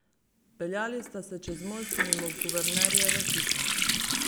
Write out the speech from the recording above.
Peljali sta se čez most mimo guvernerjeve hiše.